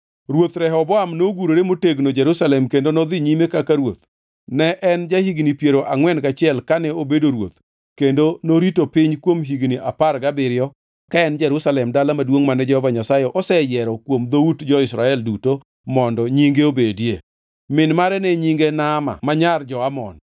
Ruoth Rehoboam nogurore motegno Jerusalem kendo nodhi nyime kaka ruoth. Ne en ja-higni piero angʼwen gachiel kane obedo ruoth kendo norito piny kuom higni apar gabiriyo ka en Jerusalem dala maduongʼ mane Jehova Nyasaye oseyiero kuom dhout jo-Israel duto mondo Nyinge obedie. Min mare ne nyinge Naama ma nyar jo-Amon.